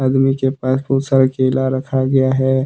और नीचे बहुत सारा केला रखा गया है।